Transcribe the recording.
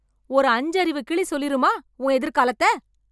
ஒரு அஞ்சு அறிவு கிளி சொல்லிருமா உன் எதிர்காலத்த?